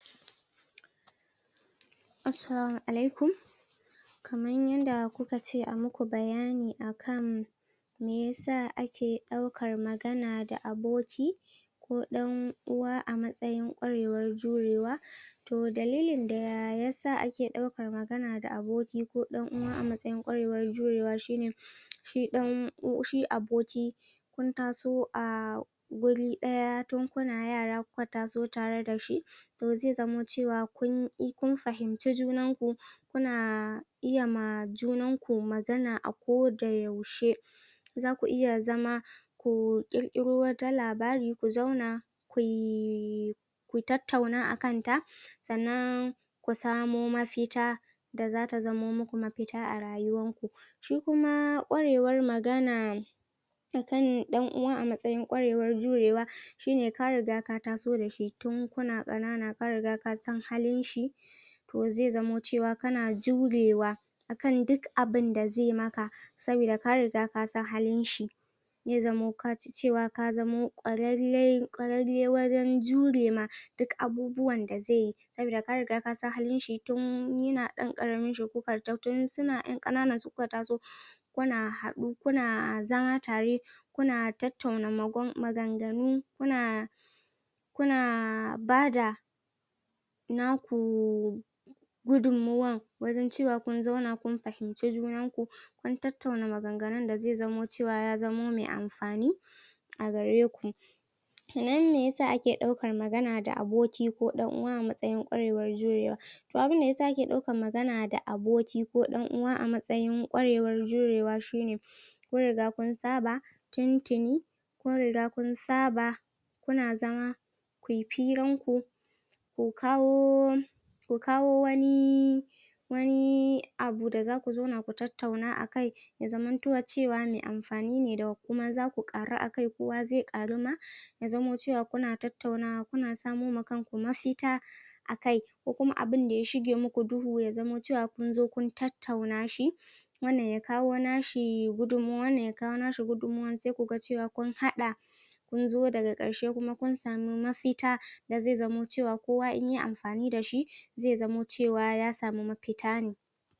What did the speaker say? Assalamu alaikum kamar yadda kuka ce ayi muku bayani akan meyasa ake ɗaukar magana da aboki ko ɗan uwa a matsayin kwarewar jurewa to dalilin da yasa ake ɗaukar magana da aboki ko ɗan uwa a matsayin kwarewar jurewa shine shi ɗan shi aboki kun taso a wuri ɗaya tun kuna yara kuka taso tare da shi to zai zamo cewa kun e kun fahimci junan ku kuna iyama junan ku magana a koda yaushe zaku iya zama ku ƙirƙkiro wata labari ku zauna ku yi ku tattauna akan ta sannan ku samo mafita da zata zamo muku mafita a rayuwar ku shi kuma ƙwarewar magana akan ɗan uwa a matsayin kwarewar jurewa shine ka riga ka taso dashi tun kuna ƙanana ka riga kasan halin shi to zai zamo cewa kana jurewa akan duk abinda zai maka sabida ka riga kasan halin shi zai zamo kaji cewa ka zamo kwararre kwararre wurin jure ma duk abubuwan da zai yi sabida ka riga kasan halin shi tun yina ɗan ƙaramin taso tun suna yan ƙananan su kuka taso kuna haɗu kuna zama tare kuna tattauna magan maganganu kuna kuna bada naku gudun mawar wajan cewa kun zauna kun fahinci junan ku kun tattauna maganganun da zai zamo cewa ya zamo mai amfani a gare ku ke nan meyasa ake ɗaukar magana da aboki ko ɗan uwa a matsayin kwarewar jurewa to abinda yasa ake ɗaukar magana da aboki ko ɗan uwa a matsayin kwarewar jurewa shine kun riga kun saba tuntuni kun riga kun saba kuna zama ku firan ku ku kawo ku kawo wani wani abu da zaku zauna ku tattauna akai ya zaman to cewa mai amfani ne da kuma zaku ƙaru akai kowa zai ƙaru ma ya zamo cewa kuna tattaunawa, kuna samoma kanku mafita akai kokuma abinda ya shige maku duhu ya zamo cewa kun zo kun tattauna shi wannan ya kawo nashi gudunmawar, wannan ya kawo nashi gudunmawar, sai kuga cewa kun haɗa kun zo daga karshe kuma kun sami mafita da zai zamo cewa kowa in yayi amfani dashi zai zamo cewa ya sami mafita ne